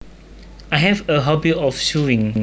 I have a hobby of sewing